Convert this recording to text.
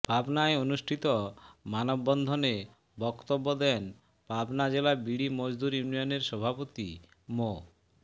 পাবনায় অনুষ্ঠিত মানববন্ধনে বক্তব্য দেন পাবনা জেলা বিড়ি মজদুর ইউনিয়নের সভাপতি মো